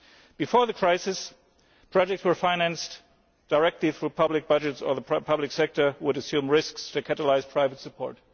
Before the crisis, projects were financed directly through public budgets, or the public sector would assume risks to catalyse private support.